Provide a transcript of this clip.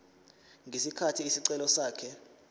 ngesikhathi isicelo sakhe